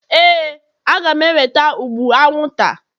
Éè, a ga m eweta ụgbụ anwụnta.